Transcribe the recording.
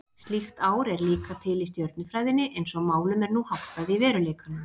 Slíkt ár er líka til í stjörnufræðinni eins og málum er nú háttað í veruleikanum.